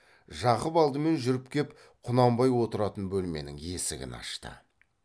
жақып алдымен жүріп кеп құнанбай отыратын бөлменің есігін ашты